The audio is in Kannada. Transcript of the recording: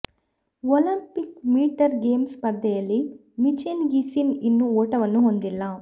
ಒಲಿಂಪಿಕ್ ವಿಂಟರ್ ಗೇಮ್ಸ್ ಸ್ಪರ್ಧೆಯಲ್ಲಿ ಮಿಚೆಲ್ ಗಿಸಿನ್ ಇನ್ನೂ ಓಟವನ್ನು ಹೊಂದಿಲ್ಲ